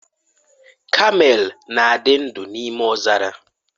Kamel na-adị ndụ n'ime ọzara.